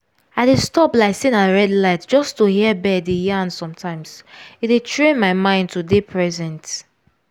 i dey stop like say na red light just to hear bird dey yarn sometimes e dey train my mind to dey present.